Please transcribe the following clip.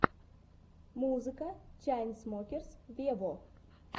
музыка чайнсмокерс вево